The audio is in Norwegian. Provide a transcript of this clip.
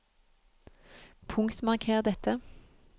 Punktmarker dette